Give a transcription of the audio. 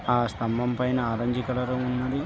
ఆ స్తంబం పైన ఆరంజ్ కలర్ ఉన్నది.